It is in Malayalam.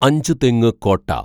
അഞ്ചുതെങ്ങ് കോട്ട